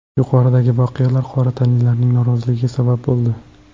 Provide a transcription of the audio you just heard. Yuqoridagi voqealar qora tanlilarning noroziligiga sabab bo‘ldi.